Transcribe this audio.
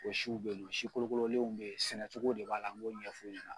O siw be si kolokololenw be ye, sɛnɛcogo de b'a la, ŋ'o ɲɛf'u ɲɛna.